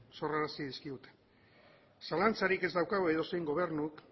sorrarazi dizkigu zalantzarik ez daukagu edozein gobernuk